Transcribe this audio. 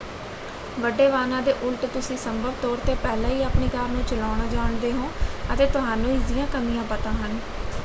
ਵੱਡੇ ਵਾਹਨਾਂ ਦੇ ਉਲਟ ਤੁਸੀਂ ਸੰਭਵ ਤੌਰ 'ਤੇ ਪਹਿਲਾਂ ਹੀ ਆਪਣੀ ਕਾਰ ਨੂੰ ਚਲਾਉਣਾ ਜਾਣਦੇ ਹੋ ਅਤੇ ਤੁਹਾਨੂੰ ਇਸ ਦੀਆਂ ਕਮੀਆਂ ਪਤਾ ਹਨ।